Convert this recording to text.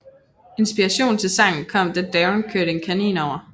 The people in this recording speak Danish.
Inspirationen til sangen kom da Daron kørte en kanin over